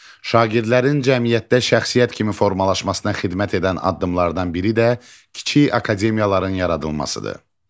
Şagirdlərin cəmiyyətdə şəxsiyyət kimi formalaşmasına xidmət edən addımlardan biri də kiçik akademiyaların yaradılmasıdır.